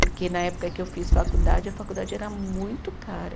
Porque na época que eu fiz faculdade, a faculdade era muito cara.